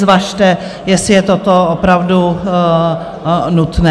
Zvažte, jestli je toto opravdu nutné.